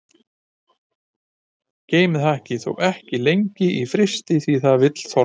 Geymið hakkið þó ekki lengi í frysti því að það vill þorna.